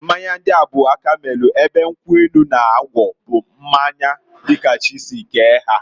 Mmanya ndia bu aka melu, ebe nkwu enu na ngwọ bụ mmanya di ka chi si kee ha.